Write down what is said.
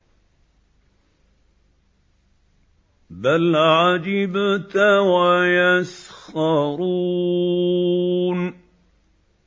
بَلْ عَجِبْتَ وَيَسْخَرُونَ